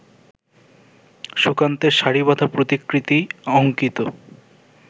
সুকান্তের সারিবাঁধা প্রতিকৃতি অঙ্কিত